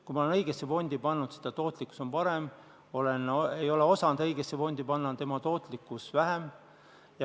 Kui ma olen selle õigesse fondi pannud, siis on tootlikkus parem, kui ma ei ole osanud õigesse fondi panna, on tootlikkus väiksem.